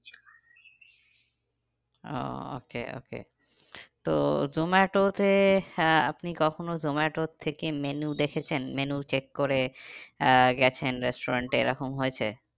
ও okay okay তো জোমাটোতে আহ আপনি কখনো জোমাটোর থেকে menu দেখেছেন? menu check করে আহ গেছেন restaurant এ এরকম হয়েছে?